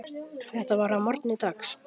Þetta var að morgni dags.